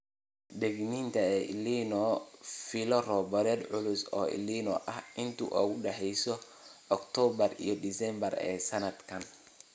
Digniinta El Niño Filo roobab culus oo El Niño ah inta u dhaxaysa Oktoobar iyo Disembar ee sanadkan.